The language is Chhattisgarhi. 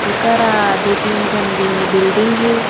एकरा दू-तीन ठन बिल बिल्डिंग हे।